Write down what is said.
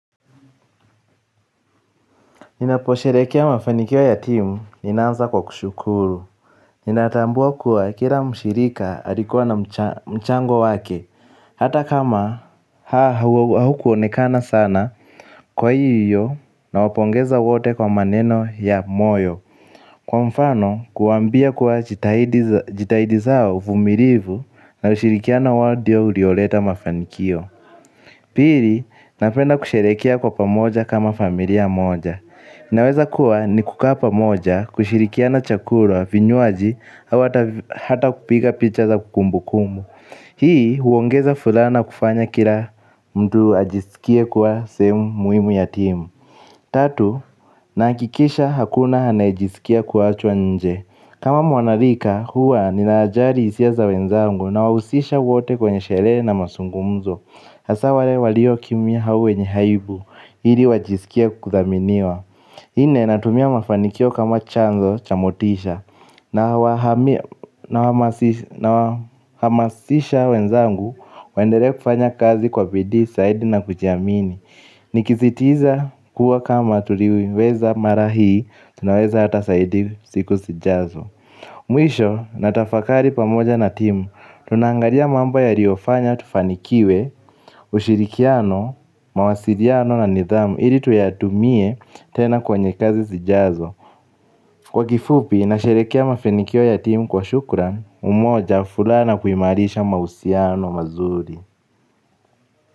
Ninaposherekea mafanikio ya timu, ninaanza kwa kushukuru. Ninatambua kuwa kila mshirika alikuwa na mchango wake, hata kama haukuonekana sana kwa hii hiyo nawapongeza wote kwa maneno ya moyo. Kwa mfano, kuwambia kuwa jitahidi zao vumirivu na ushirikiano wawo dio ulioleta mafanikio. Pili, napenda kusherehekea kwa pamoja kama familia moja. Naweza kuwa nikukaa pamoja kushirikiana chakura vinywaji hau hata kupiga picha za kumbu kumbu. Hii huongeza fulaha naa kufanya kila mtu ajisikie kwa sehemu muhimu ya timu. Tatu, naakikisha hakuna anayejisikia kuwachwa nje. Kama mwanarika huwa ninajari hisia za wenzangu na wahusisha wote kwenye sherehe na masungumzo. Hasa wale walio kimya hau wenye haibu ili wajisikie kuthaminiwa nne natumia mafanikio kama chanzo cha motisha nawahamasisha wenzangu waendelee kufanya kazi kwa bidii saidi na kujiamini. Nikisitiza kuwa kama turiweza mara hii tunaweza hata saidi siku sijazo. Mwisho natafakari pamoja na timu, tunaangalia mambo yaliofanya tufanikiwe, ushirikiano, mawasiriano na nidhamu ili tuyatumie tena kwenye kazi sijazo. Kwa kifupi, nasherekea mafenikio ya timu kwa shukran, umoja fulaha na kuimarisha mahusiano mazuri.